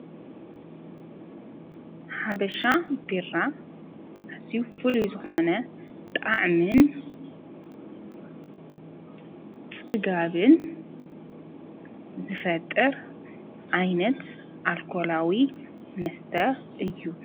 ሓበሻ ቢራ ኣዝዪ ጥዑም ኣልከላዊ መስተ እዩ።